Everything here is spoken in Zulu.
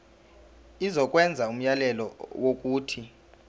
izokwenza umyalelo wokuthi